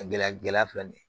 Gɛlɛya gɛlɛya filɛ nin ye